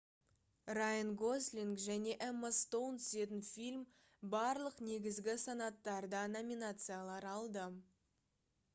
райан гослинг және эмма стоун түсетін фильм барлық негізгі санаттарда номинациялар алды